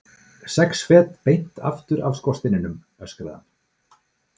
Sex fet beint aftur af skorsteininum, öskraði hann.